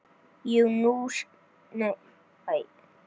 Jú, ég skil.